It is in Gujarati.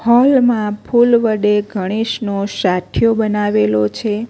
હોલ માં ફૂલ વડે ગણેશનો સાથિયો બનાવેલો છે.